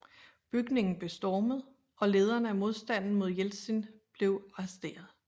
Bygningen blev stormet og lederne af modstanden mod Jeltsin blev arresteret